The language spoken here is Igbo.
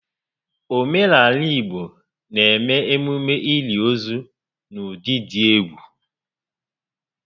Omenaala Igbo n'eme emume ili ozu n'ụdị dị egwu